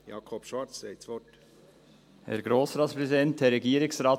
Jakob Schwarz, Sie haben das Wort.